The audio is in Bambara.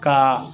Ka